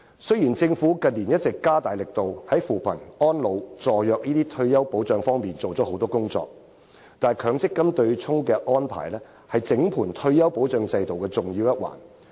雖然，政府近年一直加大力度，在扶貧、安老、助弱等退休保障方面做了很多工作，但強積金對沖的安排，是整個退休保障制度的重要一環。